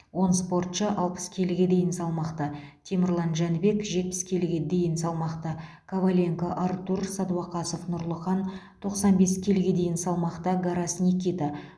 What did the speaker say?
он спортшы алпыс келіге дейінгі салмақта темірлан жәнібек жетпіс бес келіге дейінгі салмақта коваленко артур сәдуақасов нұрлыхан тоқсан бес келіге дейінгі салмақта гарас никита